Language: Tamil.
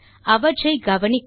அவற்றை கவனிக்கவும்